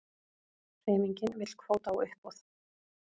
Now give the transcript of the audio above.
Hreyfingin vill kvóta á uppboð